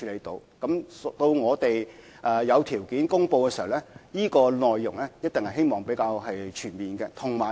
當我們有條件公布時，方案的內容一定是比較全面的。